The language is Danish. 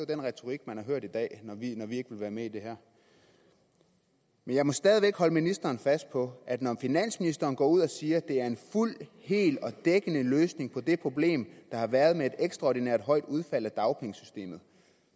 den retorik man har hørt i dag når vi har sagt at vi ikke vil være med i det her men jeg må stadig væk holde ministeren fast på at når finansministeren går ud og siger at det er en fuld hel og dækkende løsning på det problem der har været med et ekstraordinært højt antal udfald af dagpengesystemet